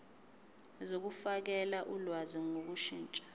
zokufakela ulwazi ngokushintsha